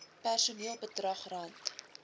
personeel bedrag rand